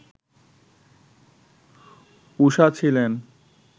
ঊষা ছিলেন